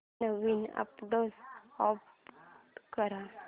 नवीन address add कर